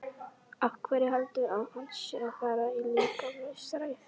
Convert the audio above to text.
Af hverju heldurðu að hann sé að fara í líkamsrækt?